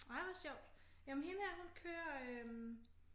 Ej hvor sjovt jamen hende her hun kører øh